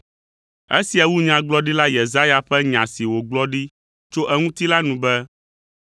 Esia wu Nyagblɔɖila Yesaya ƒe nya si wògblɔ ɖi tso eŋuti la nu be,